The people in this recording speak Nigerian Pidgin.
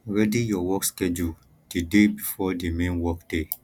ready your work schedule di day before di main work day